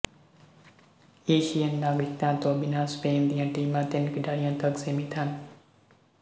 ਈਸੀਅਨ ਨਾਗਰਿਕਤਾ ਤੋਂ ਬਿਨਾਂ ਸਪੇਨ ਦੀਆਂ ਟੀਮਾਂ ਤਿੰਨ ਖਿਡਾਰੀਆਂ ਤੱਕ ਸੀਮਿਤ ਹਨ